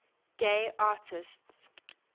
gay artists